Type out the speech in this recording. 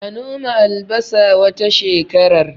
A noma albasa wata shekarar